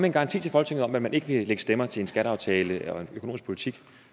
en garanti til folketinget om at man ikke vil lægge stemmer til en skatteaftale eller en økonomisk politik